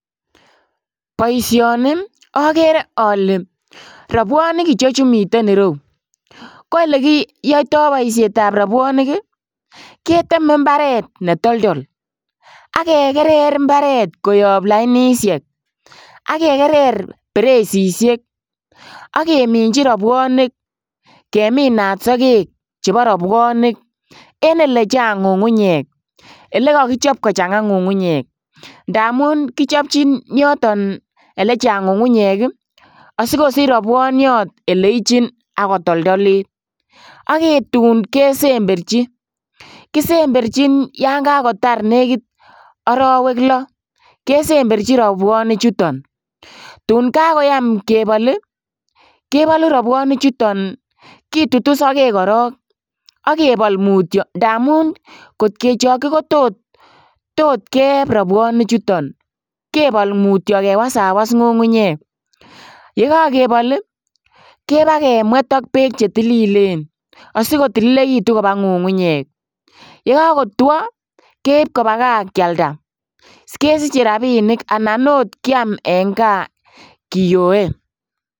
Boisioni okere ole robwonik ichechu muten ireu ko elekiyouto boushetab robwonik ii keteme imbaret netoldo ak kekerer imbaret koyob lainishek, ak kekerer beresishek ak kemin robwonik keminat sokek chebo robwonik, en ele chang ngungunyek elekokichop kochanga ngungunyek ndamun kichopchin yoyon elechang ngungunyek asikosich robwoniot eleichin ak kotoldolit, ak tun kesemberji kisemberjin yon kakotar negit orowek loo kesemberji robwonichuton , tun kakoyaam kebol oi kebolu robwonichuton kitutu sokek korong ak kebol mutyo ndamun kot kechokchi kotot keeb robwonichuton kebol mutyo kewasawas ngungunyek, yekokebol ii kebaa kemwet ak beek chetililen asikotililekitun kobaa ngungunyek, ye kokotwo keib kobaa kaa kialda kesiche rabinik anan oot kiam en kaa kiyoe.